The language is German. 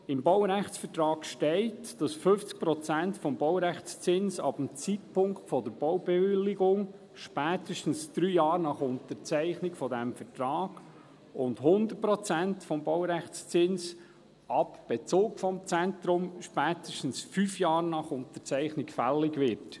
Im Baurechtsvertrag steht, dass 50 Prozent des Baurechtszinses ab dem Zeitpunkt der Baubewilligung, spätestens drei Jahre nach Unterzeichnung des Vertrags, und 100 Prozent des Baurechtszinses ab Bezug des Zentrums, spätestens fünf Jahre nach Unterzeichnung, fällig werden.